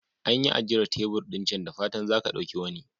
An yi ajiyar tebur ɗin can, da fatan za ka ɗauki wani.